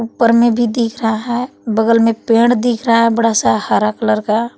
ऊपर में भी दिख रहा है बगल में पेड़ दिख रहा है बड़ा सा हरा कलर का है।